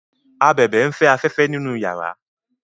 ábèbè n'fe aféfé nínú yàrá